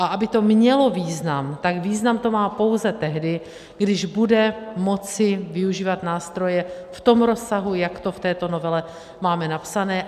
A aby to mělo význam, tak význam to má pouze tehdy, když bude moci využívat nástroje v tom rozsahu, jak to v této novele máme napsané.